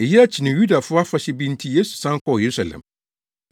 Eyi akyi no Yudafo afahyɛ bi nti Yesu san kɔɔ Yerusalem.